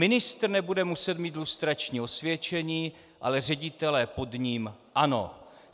Ministr nebude muset mít lustrační osvědčení, ale ředitelé pod ním ano.